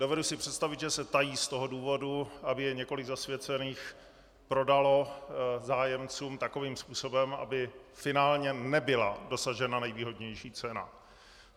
Dovedu si představit, že se tají z toho důvodu, aby je několik zasvěcených prodalo zájemcům takovým způsobem, aby finálně nebyla dosažena nejvýhodnější cena.